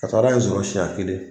Kasara ye n sɔrɔ senɲɛ kelen